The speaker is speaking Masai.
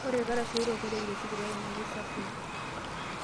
Ore ilkarash oitoiporeki te sipitali naa keisafii.